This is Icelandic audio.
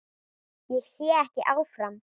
Ég sé ekki áfram.